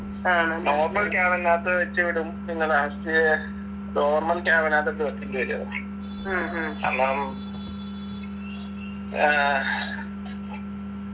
normal cabin നാത്ത് വെച്ച് വിടും പിന്നെ last normal cabin നാത്ത് ഇട്ട് വെച്ചിങ് തരു കാരണം ഏർ